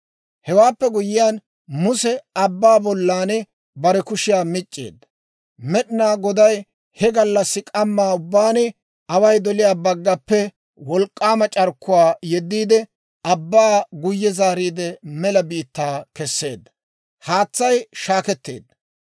Hewaappe guyyiyaan Muse abbaa bollan bare kushiyaa mic'c'eedda; Med'inaa Goday he gallassi k'ammaa ubbaan away doliyaa baggappe wolk'k'aama c'arkkuwaa yeddiide, abbaa guyye zaariide mela biittaa kesseedda. Haatsay shaakketeedda.